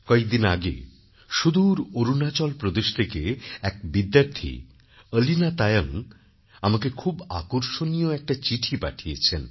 কয়েকদিন আগে সুদূর অরুণাচল প্রদেশ থেকে এক বিদ্যার্থী অলীনা তায়ং আমাকে খুব আকর্ষণীয় একটি চিঠি পাঠিয়েছেন